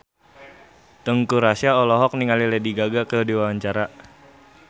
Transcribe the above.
Teuku Rassya olohok ningali Lady Gaga keur diwawancara